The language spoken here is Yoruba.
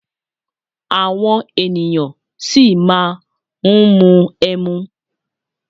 Àwọn ènìyàn ṣì máa ń mu ẹmu.